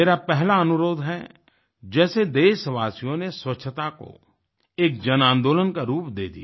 मेरा पहला अनुरोध है जैसे देशवासियों ने स्वच्छता को एक जन आंदोलन का रूप दे दिया